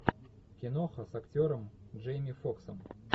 киноха с актером джейми фоксом